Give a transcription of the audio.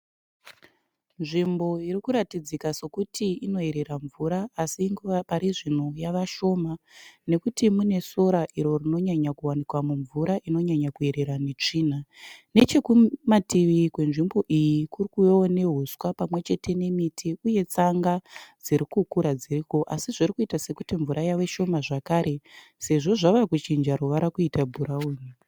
Nzvimbo iri kuratidzika sekuti inoerera mvura asi parizvino yavashoma. Nekuti mune sora iro rinonyanya kuwanika mumvura inonyanya kuerera netsvina. Nechekumati kwenzvimbo iyi kuri kuvewo nehuswa pamwe chete nemiti uye tsanga dzirikukura dziriko. Asi zviri kuita sekuti mvura yave shoma zvakare sezvo zvaa kuchinja ruvara kuita bhurauni.